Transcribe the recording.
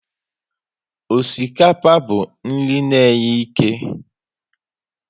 Osikapa bụ nri na e nye ike